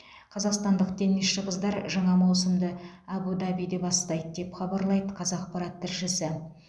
қазақстандық теннисші қыздар жаңа маусымды әбу дабиде бастайды деп хабарлайды қазақпарат тілшісі